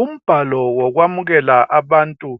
Umbhalo wokwamkele abantu